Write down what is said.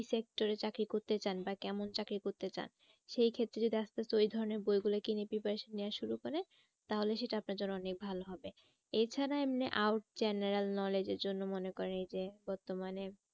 Sector এ চাকরি করতে চান বা কেমন চাকরি করতে চান? সেই ক্ষেত্রে যদি আস্তে আস্তে যদি ওই ধরণের বই গুলো কিনে preparation নেওয়া শুরু করে তাহলে সেটা আপনার জন্য অনেক ভালো হবে। এ ছাড়া এমনি out general knowledge এর জন্য মনে করেন এই যে বর্তমানে